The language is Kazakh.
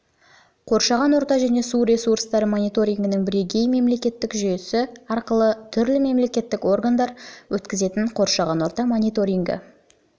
қоршаған орта және су ресурстары мониторингінің бірегей мемлекеттік жүйесі арқылы түрлі мемлекеттік органдар өткізетін қоршаған орта мониторингі мен